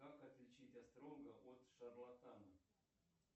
как отличить астролога от шарлатана